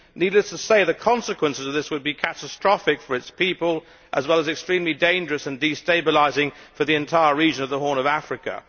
Needless to say, the consequences of this would be catastrophic for its people, as well as extremely dangerous and destabilising for the entire region of the Horn of Africa.